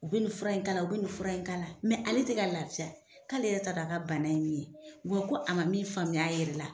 U bi nin fura in k'ala, u bi nin fura in k'ala la . ale tɛ ka lafiya , k'ale yɛrɛ t'a dɔn a ka bana ye min ye . Wa ko a ma min faamuya a yɛrɛ la